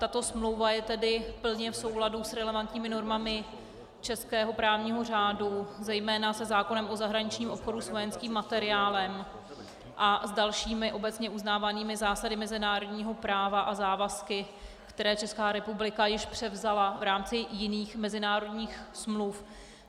Tato smlouva je tedy plně v souladu s relevantními normami českého právního řádu, zejména se zákonem o zahraničním obchodu s vojenským materiálem a s dalšími obecně uznávanými zásadami mezinárodního práva a závazky, které Česká republika již převzala v rámci jiných mezinárodních smluv.